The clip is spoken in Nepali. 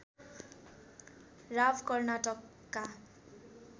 राव कर्नाटकका